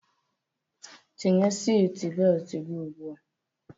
Tinye siti beltu gị ugbua!